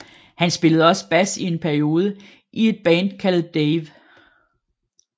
Han spillede også bas i en periode i et band kaldet DAEVE